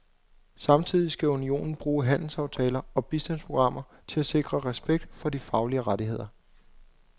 Samtidig skal unionen bruge handelsaftaler og bistandsprogrammer til at sikre respekt for de faglige rettigheder.